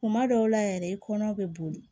Kuma dɔw la yɛrɛ i kɔnɔ be boli